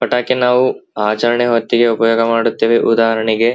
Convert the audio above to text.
ಪಟಾಕಿ ನಾವು ಅಚರಣೆ ಹೊತ್ತಿಗೆ ಉಪಯೋಗ ಮಾಡುತ್ತೇವೆ ಉದಾಹರಣೆಗೆ --